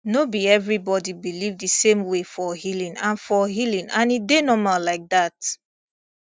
no be everybody believe the same way for healing and for healing and e dey normal like that